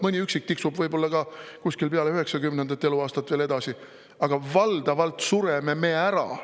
Mõni üksik tiksub võib-olla kuskil peale 90. eluaastat veel edasi, aga valdavalt sureme me ära.